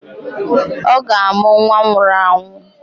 Ọ ga-amụ nwa nwụrụ anwụ